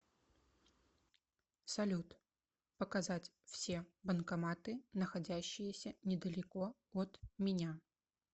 салют показать все банкоматы находящиеся недалеко от меня